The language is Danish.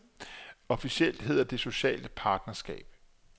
Officielt hedder det socialt partnerskab.